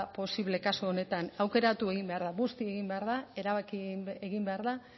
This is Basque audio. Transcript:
posible kasu honetan aukeratu egin behar da busti egin behar da erabaki egin behar da